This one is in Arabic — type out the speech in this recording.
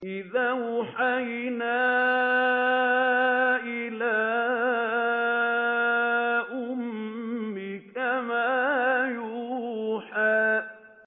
إِذْ أَوْحَيْنَا إِلَىٰ أُمِّكَ مَا يُوحَىٰ